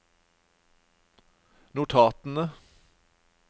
notatene